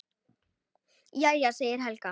Jæja, segir Helga.